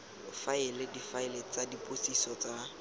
faela difaele tsa dipotsiso tsa